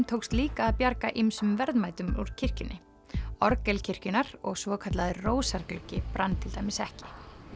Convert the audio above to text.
tókst líka að bjarga ýmsum verðmætum úr kirkjunni orgel kirkjunnar og svokallaður rósargluggi brann ekki